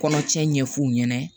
Kɔnɔcɛ ɲɛ f'u ɲɛna